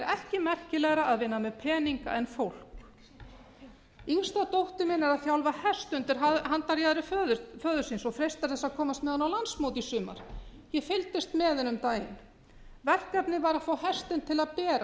ekki merkilegra að vinna með peninga en fólk yngsta dóttir mín er að þjálfa hest undir handarjaðri föður síns og freistar þess að komast með hann á landsmót í sumar ég fylgdist með henni um daginn verkefnið var að fá hestinn til að bera